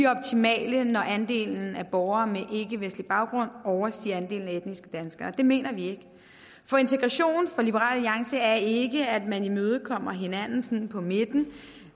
optimale når andelen af borgere med ikkevestlig baggrund overstiger andelen af etniske danskere det mener vi ikke for integration for liberal alliance er ikke at man imødekommer hinanden på midten